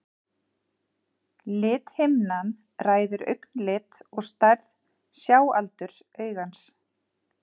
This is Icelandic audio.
lithimnan ræður augnlit og stærð sjáaldurs augans